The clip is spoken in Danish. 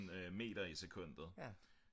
meter i sekundet